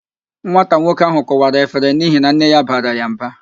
Nwata nwoke ahụ kụwara efere n'ihi na nne ya bara ya mba